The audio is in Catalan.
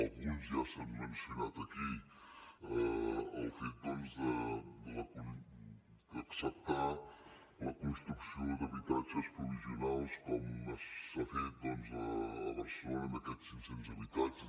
alguns ja s’han mencionat aquí el fet d’acceptar la construcció d’habitatges provisionals com s’ha fet a barcelona amb aquests cinccents habitatges